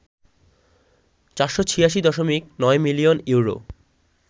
৪৮৬.৯ million euro